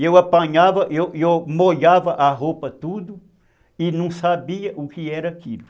E eu apanhava, e eu eu molhava a roupa tudo e não sabia o que era aquilo.